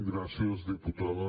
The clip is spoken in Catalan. gràcies diputada